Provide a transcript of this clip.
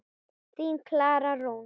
Þín, Klara Rún.